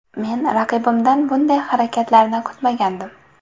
Men raqibimdan bunday harakatlarni kutmagandim.